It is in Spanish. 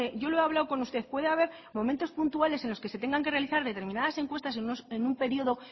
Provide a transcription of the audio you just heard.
yo lo he hablado con usted puede haber momentos puntales en los que se tengan que realizar determinadas encuestas en un periodo